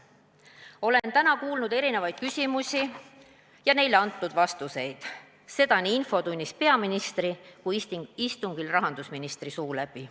Olen täna kuulnud erinevaid küsimusi ja neile antud vastuseid nii infotunnis peaministri kui ka istungil rahandusministri suu läbi.